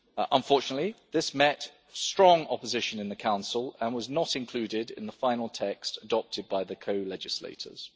Unfortunately, this met with strong opposition in the Council and was not included in the final text adopted by the co legislators.